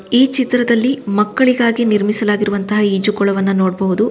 ಈ ಚಿತ್ರದಲ್ಲಿ ಮಕ್ಕಳಿಗಾಗಿ ನಿರ್ಮಿಸಲಾಗಿರುವಂತ ಈಜುಕೊಳವನ್ನ ನೋಡಬಹುದು.